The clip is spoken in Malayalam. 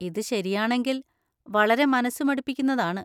ഇത് ശരിയാണെങ്കിൽ വളരെ മനസ്സുമടുപ്പിക്കുന്നതാണ്.